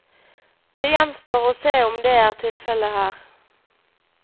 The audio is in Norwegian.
Det gjenstår å se om det er tilfellet her.